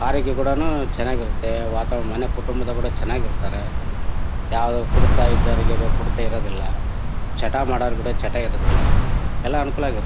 ಆರೋಗ್ಯ ಕೂಡನು ಚನಾಗಿರತ್ತೆ ವಾತಾವರಣ ಮನೆ ಕುಟುಂಬದವರು ಕೂಡನು ಚನಾಗ್ ಇರ್ತಾರೆ. ಜಾಗ ಕೊಡ್ತಾ ಇರೋರಿಗೆ ಜಾಗ ಕೊಡ್ತಾ ಇಲ್ಲ ಚಟ ಮಾಡೋರಿಗೂ ಕೂಡ ಚಟ ಇರೋದಿಲ್ಲಾ ಎಲ್ಲಾ ಅನುಕೂಲವಾಗಿರ--